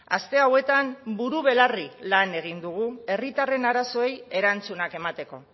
aste hauetan buru belarri lan egin dugu herritarren arazoei erantzunak emateko